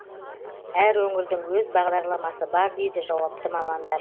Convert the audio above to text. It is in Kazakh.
әр өңірдің өз бағдарламасы бар дейді жауапты мамандар